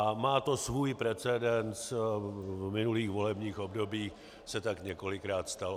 A má to svůj precedens, v minulých volebních obdobích se tak několikrát stalo.